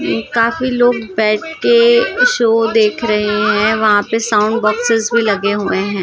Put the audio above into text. काफी लोग बेठ के शो देख रहे हैं वहां पे साउन्ड बोक्सेस भी लगे हुए हैं।